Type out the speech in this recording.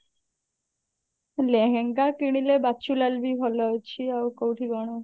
ଲେହେଙ୍ଗା କିଣିଲେ ଦକ୍ଷୁଲାଲ ବି ଭଲ ଅଛି ଆଉ କଉଠି କଣ